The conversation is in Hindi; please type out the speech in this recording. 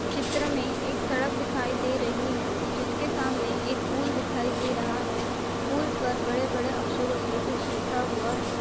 चित्र मे एक सड़क दिखाई दे रही है जिसके सामने एक पूल दिखाई दे रहा है पूल पर बड़े बड़े अक्षरों से कुछ लिखा हुआ है।